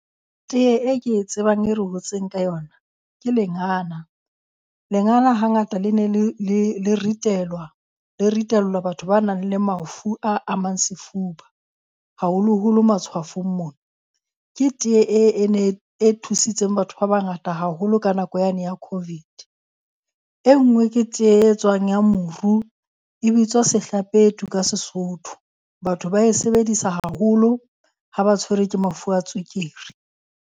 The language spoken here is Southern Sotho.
Tee e ke e tsebang e re hotseng ka yona ke lengana. Lengana hangata le ne le le ritelwa le ritellwa batho ba nang le mafu a mang sefuba. Haholoholo matshwafong mona. Ke tee e thusitseng batho ba bangata haholo ka nako yane ya COVID. E nngwe ke tee e etswang ya moru, e bitswa sehlapetu ka seSotho. Batho ba e sebedisa haholo ha ba tshwerwe ke mafu a tswekere.